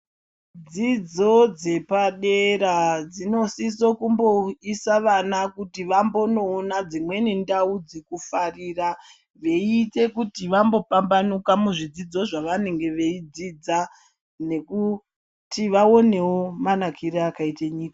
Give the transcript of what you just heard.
Dzidzo dzepadera dzinosiso kuumboise vana kuti vambonoona dzimweni ndaudzekufarira veiite kuti vambopambanuka muzvidzidzo zvavanenga veidzidza nekuti vaonewo manakire akaite nyika.